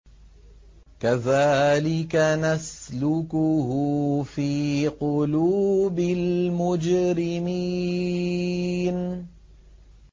كَذَٰلِكَ نَسْلُكُهُ فِي قُلُوبِ الْمُجْرِمِينَ